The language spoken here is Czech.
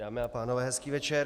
Dámy a pánové, hezký večer.